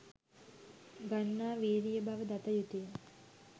ගන්නා වීරිය බව දත යුතුය.